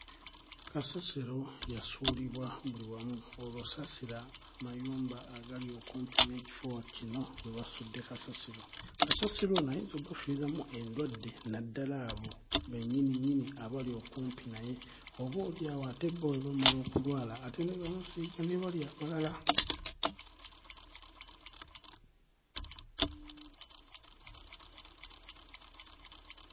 Kasasiro yasuulibwa buli wamu olwo saasira amayumba agali okumpi n'ekifo kino we basudde kasasiro kasasiro ono ayinza obbafiiramu endwadde naddala abo bennyininnyini abali okumpi naye oboolyawo ate bo bwe bamala okulwala ate ne bamusiiga ne bali abalala.